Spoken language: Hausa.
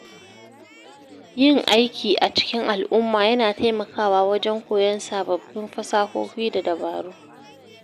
Yin aiki a cikin al’umma yana taimakawa wajen koyon sababbin fasahohi da dabaru.